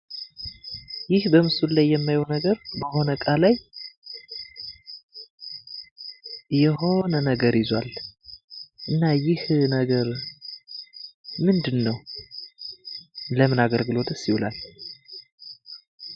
ይህ በምስሉ ላይ የማየው ነገር በሆነ እቃ ላይ የሆነ ነገር ይዟል ። እና ይህ ነገር ምንድን ነው? ለምን አገልግሎትስ ይውላል?